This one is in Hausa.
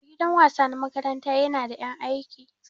maigidan wasa na makaranta yana da yin aiki.